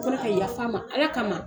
Ko ne ka yafama Ala ka ma.